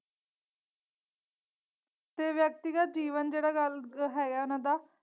ਤੇ ਵ੍ਯਕਤਿਗਤ ਜੀਵਨ ਜੇਹੜਾ ਗੱਲ ਹੈਗਾ ਇੰਨਾ ਦਾ।